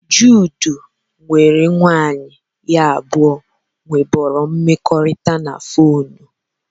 Jude nwere nwanyị ha abụọ nwebụrụ mmekọrịta na fonu